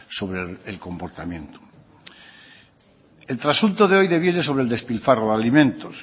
sobre el comportamiento el asunto de hoy deviene sobre el despilfarro de alimentos